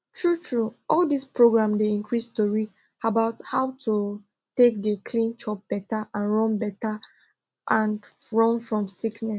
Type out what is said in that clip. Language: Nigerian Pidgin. true true all dis programs dey increase tori about how to take dey clean chop better and run better and run fom sickness